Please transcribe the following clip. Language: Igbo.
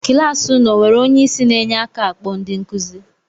Kịlasị unu e enwere onye isi na-enye aka akpọ ndị nkuzi?